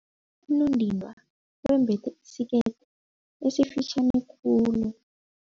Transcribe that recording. Unondindwa wembethe isikete esifitjhani khulu.